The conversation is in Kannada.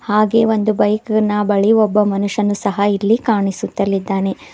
ಹಾಗೆ ಒಂದು ಬೈಕ್ ನ ಬಳಿ ಒಬ್ಬ ಮನುಷ್ಯನು ಸಹ ಇಲ್ಲಿ ಕಾಣಿಸುತಲಿದ್ದಾನೆ.